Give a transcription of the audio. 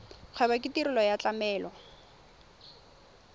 kgwebo ke tirelo ya tlamelo